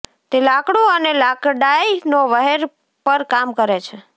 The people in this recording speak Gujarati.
તે લાકડું અને લાકડાંઈ નો વહેર પર કામ કરે છે